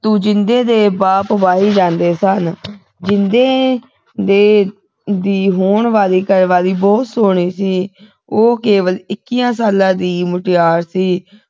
ਜਿੰਦੇ ਦੇ ਬਾਪ ਵਾਹੀ ਵਾਲੇ ਸਨ ਜਿੰਦੇ ਦੇ ਦੀ ਹੋਣ ਵਾਲੀ ਘਰਵਾਲੀ ਬਹੁਤ ਸੋਹਣੀ ਸੀ ਉਹ ਕੇਵਲ ਇੱਕੀਆਂ ਸਾਲਾਂ ਦੀ ਮੁਟਿਆਰ ਸੀ